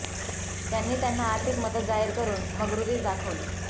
त्यांनी त्यांना आर्थिक मदत जाहीर करून मग्रुरीच दाखवली